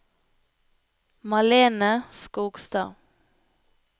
Malene Skogstad